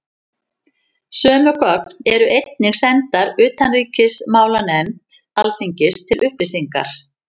Sömu gögn eru einnig sendar utanríkismálanefnd Alþingis til upplýsingar.